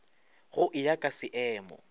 go e ya ka seemo